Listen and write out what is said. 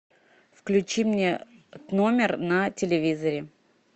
включи мне номер на телевизоре